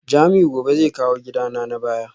Jamiu gobe zai kawo gidana na baya